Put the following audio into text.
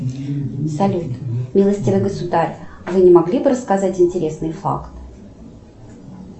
салют милостивый государь вы не могли бы рассказать интересный факт